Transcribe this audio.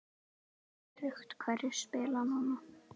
Er öruggt hverjir spila núna?